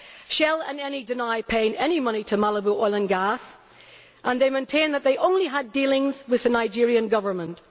Shell and Eni deny paying any money to Malibu Oil and Gas, and maintain that they only had dealings with the Nigerian Government.